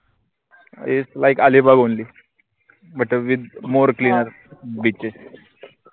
islike Alibag onlybutwithmore beaches